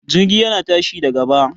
Jirgi yana tashi da gaba